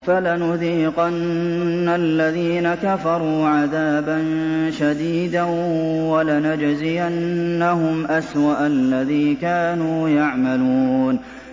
فَلَنُذِيقَنَّ الَّذِينَ كَفَرُوا عَذَابًا شَدِيدًا وَلَنَجْزِيَنَّهُمْ أَسْوَأَ الَّذِي كَانُوا يَعْمَلُونَ